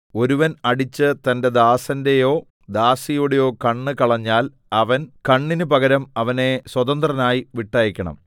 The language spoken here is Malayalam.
ഒരുവൻ അടിച്ച് തന്റെ ദാസന്റെയോ ദാസിയുടെയോ കണ്ണ് കളഞ്ഞാൽ അവൻ കണ്ണിന് പകരം അവനെ സ്വതന്ത്രനായി വിട്ടയയ്ക്കണം